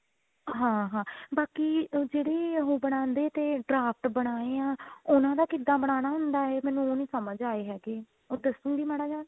ਹਾਂ ਹਾਂ ਬਾਕੀ ਜਿਹੜੀ ਉਹ ਬਣਾਦੇ ਤੇ draft ਬਣਾਏ ਆ ਉਹਨਾ ਦਾ ਕਿੱਦਾਂ ਬਨਾਣਾ ਹੁੰਦਾ ਹੈ ਮੈਨੂੰ ਉਹ ਨਹੀਂ ਸਮਝ ਆਏ ਹੈਗੇ ਉਹ ਦੱਸੋਗੇ ਮਾੜਾ ਜਿਹਾ